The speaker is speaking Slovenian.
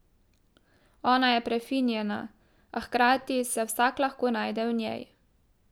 Ona je prefinjena, a hkrati se vsak lahko najde v njej.